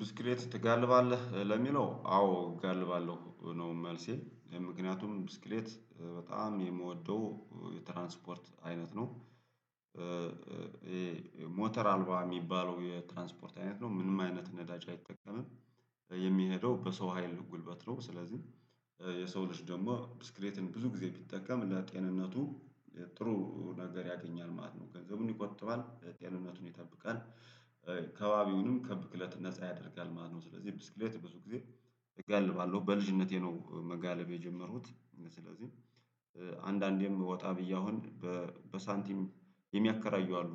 ብስክሌት ትጋልባለህ ለሚለው አዎ እጋልባለሁ ነው መልሴ ምክንያቱም ብስክሌት በጣም የምወደው የትራንስፖርት አይነት ነው። ሞተር አልባ የሚባለው የትራንስፖርት አይነት ነው ምንም አይነት ነዳጅ አይጠቀምም። የሚሄደው በሰው ሀይል ጉልበት ነው። ስለዚህ የሰው ልጅ ደግሞ ብስክሌትን ብዙ ጊዜ ቢጠቀም ለጤንነቱ ጥሩ ነገር ያገኛል ማለት ነው። ገንዘቡን ይቆጥባል ጤንነቱን ይጠብቃል አካባቢውንም ከብክለት ነፃ ያደርጋል ማለት ነው። ስለዚህ ብስክሌት በብዙ ጊዜ እጋልባለሁ በልጅነቴ ነው መጋለብ የጀመርኩት። ስለዚህ አንዳንዴም ወጣ ብዬ አሁን በሳንቲም የሚያከራዩ አሉ